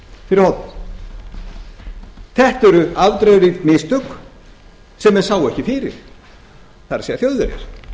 fyrir horn þetta eru afdrifarík mistök sem menn sáu ekki fyrir það er þjóðverjar